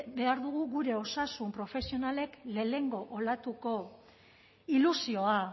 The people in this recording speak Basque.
behar dugu gure osasun profesionalek lehenengo olatuko ilusioa